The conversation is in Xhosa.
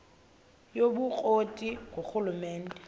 yobukro ti ngurhulumente